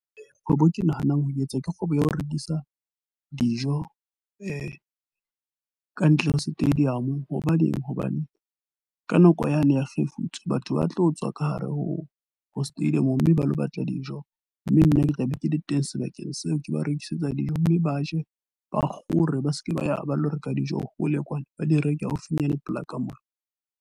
Kgwebo e ke nahanang ho etsa kgwebo ya ho rekisa dijo kantle ho stadium. Hobaneng, hobane ka nako yane ya kgefutso, batho ba tlo tswa ka hare ho ho stadium mme ba lo batla dijo. Mme nna ke tla be ke le teng sebakeng seo ke ba rekisetsa dijo. Mme ba je ba kgore ba seke ba ya ba lo reka dijo hole kwana ba di reke haufinyane polaka monana.